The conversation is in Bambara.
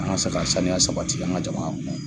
An ka se ka saniya sabati an ka jamana kɔnɔ.